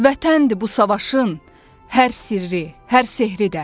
Vətəndir bu savaşın hər sirri, hər sehri də.